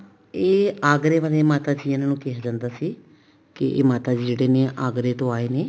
ਇਹ ਆਗਰੇ ਵਾਲੇ ਮਾਤਾ ਸੀ ਇਹਨਾ ਨੂੰ ਕਿਹਾ ਜਾਂਦਾ ਸੀ ਕੀ ਮਾਤਾ ਜੀ ਜਿਹੜੇ ਨੇ ਆਗਰੇ ਤੋਂ ਆਏ ਨੇ